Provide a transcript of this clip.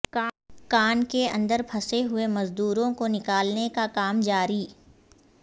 کان کے اندر پھنسے ہوئے مزدوروں کو نکالنے کا کام جاری